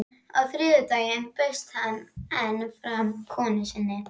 Á þriðjudaginn bauðst hann enn fram konu sinni.